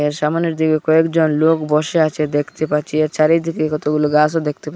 এর সামনের দিকে কয়েকজন লোক বসে আছে দেখতে পাচ্ছি এর চারিদিকে কতগুলো গাছও দেখতে পার--